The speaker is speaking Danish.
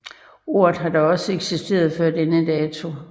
Ordet har dog også eksisteret før denne dato